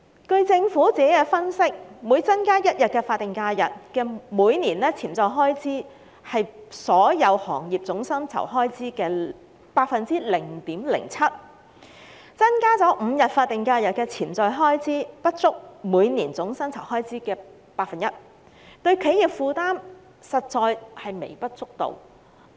據政府作出的分析，每增加1天法定假日，每年的潛在開支是所有行業總薪酬開支的 0.07%； 增加5天法定假日的潛在開支，不足每年總薪酬開支的 1%， 對於企業的負擔實在是微不足道。